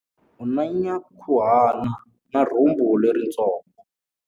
U na nyankhuhana na rhumbu leritsongo.